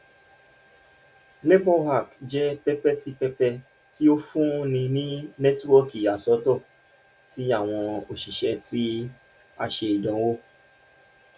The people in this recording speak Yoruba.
laborhack jẹ pẹpẹ ti pẹpẹ ti o funni ni nẹtiwọọki iyasọtọ ti awọn oṣiṣẹ ti a ṣe idanwo